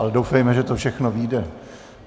Ale doufejme, že to všechno vyjde.